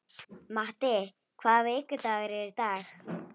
Matti, hvaða vikudagur er í dag?